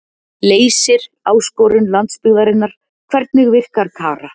Leysir áskorun landsbyggðarinnar Hvernig virkar Kara?